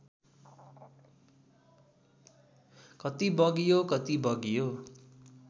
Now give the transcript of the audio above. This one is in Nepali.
कति बग्यो कति बग्यो